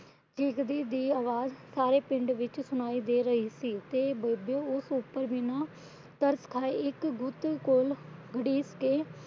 ਚੀਕਦੀ ਦੀ ਆਵਾਜ਼ ਸਾਰੇ ਪਿੰਡ ਵਿੱਚ ਸੁਣਾਈ ਦੇ ਰਹੀ ਸੀ। ਤੇ ਬੇਬੇ ਉਸ ਉਪਰ ਬਿਨਾ ਤਰਸ ਖਾਏ ਇੱਕ ਗੁੱਤ ਕੋਲ ਘੜੀਸ ਕੇ